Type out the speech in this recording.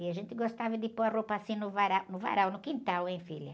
E a gente gostava de pôr a roupa assim no vara, no varal, no quintal, hein, filha?